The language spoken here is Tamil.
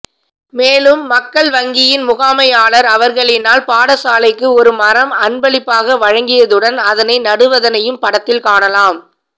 மேலும் மக்கள் வங்கியின் முகாமையாளர் அவர்களினால் பாடசாலைக்கு ஒரு மரம் அன்பளிப்பாக வழங்கியதுடன் அதனை நடுவதனையும் படத்தில் காணலாம்